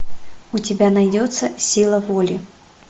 у тебя найдется сила воли